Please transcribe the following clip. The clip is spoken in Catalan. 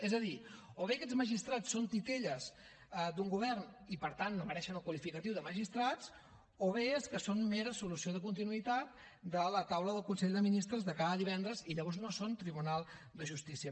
és a dir o bé aquests magistrats són titelles d’un govern i per tant no mereixen el qualificatiu de magistrats o bé és que són mera solució de continuïtat de la taula del consell de ministres de cada divendres i llavors no són tribunal de justícia